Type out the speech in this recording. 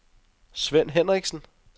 Svend Henriksen